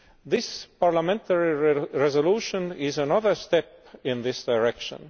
This parliamentary resolution is another step in this direction.